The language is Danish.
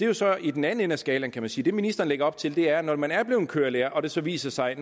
jo så i den anden ende af skalaen kan man sige det ministeren lægger op til er at når man er blevet kørelærer og det så viser sig